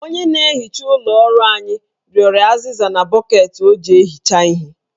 Onye na-ehicha ụlọ ọrụ anyị rịọrọ azịza na bọkeeti o ji ehicha ihe